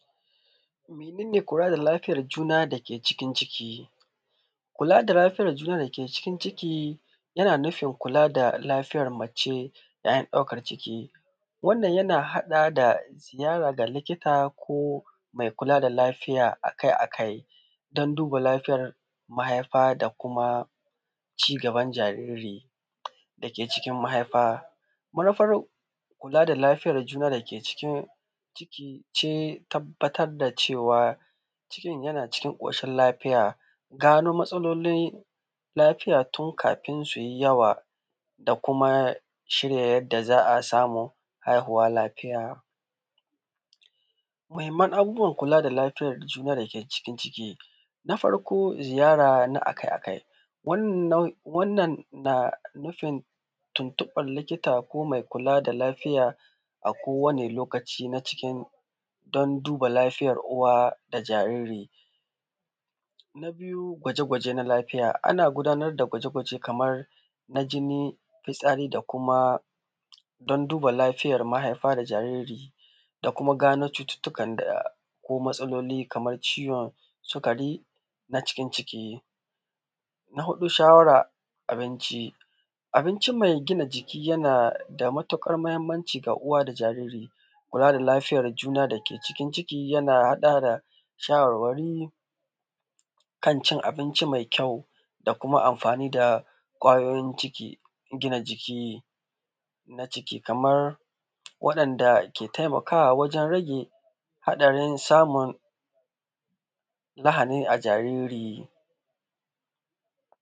Mudinga kula da lafiyan juna dake cikin ciki, kula da lafiyan juna dake cikin ciki yana nufin kula da lafiyan mace yayin ɗaukan ciki, wannan yana haɗa ga ziyara da likita ko me kula da lafiya akai-akai don duba lafiyan mahaifa da kuma cigaban jariri dake cikin mahaifa. Manufar kula da lafiyan juna dake cikin ciki ce tabbatar da cewa cikin yana cikin ƙoshin lafiya, da gano matsalolin lafiyan tun kafin ya yi yawa da kuma shirya yadda za a samu haihuwa lafiya. Muhimman abubuwan kula da lafiyan abin da ke cikin ciki, na farko ziyara na akai-akai wannan na nufin tuntuɓan likita ko me kula da lafiya a kowane lokaci na cikin don duba lafiyan uwa da jaririn. Na biyu gwaje-gwaje na lafiya, ana gudanar da gwaje-gwaje kaman na jini, fitsari, da kuma don duba lafiyan mahaifa da jariri da kuma gano cututtukan da kuma matsaloli, kaman ciwon sikari na cikin ciki. Na huɗu shawaran ci abinci me gina jiki, yana da matuƙar mahimmanci ga uwa da jaririn, kula da lafiyan juna dake cikin ciki yana haɗawa da shawarwari kan cin abinci me kyau da kuma na amfani da kwayoyin gina jiki na ciki, kaman wayanda ke taimakawa wajen rage haɗarin samun lahani a jariri.